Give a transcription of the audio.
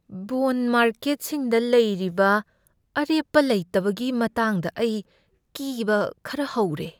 Bond ꯃꯥꯔꯀꯦꯠꯁꯤꯡꯗ ꯂꯩꯔꯤꯕ ꯑꯔꯦꯞꯄ ꯂꯩꯇꯕꯒꯤ ꯃꯇꯥꯡꯗ ꯑꯩ ꯀꯤꯕ ꯈꯔ ꯍꯧꯔꯦ꯫